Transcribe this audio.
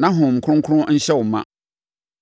na Honhom Kronkron nhyɛ wo ma.”